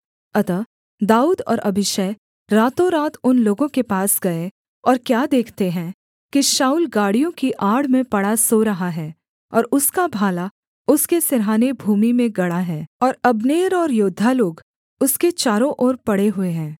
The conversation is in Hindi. अतः दाऊद और अबीशै रातोंरात उन लोगों के पास गए और क्या देखते हैं कि शाऊल गाड़ियों की आड़ में पड़ा सो रहा है और उसका भाला उसके सिरहाने भूमि में गड़ा है और अब्नेर और योद्धा लोग उसके चारों ओर पड़े हुए हैं